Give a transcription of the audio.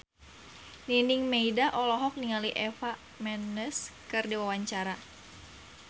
Nining Meida olohok ningali Eva Mendes keur diwawancara